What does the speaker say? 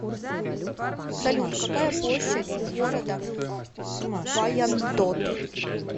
салют какая площадь у города вайандот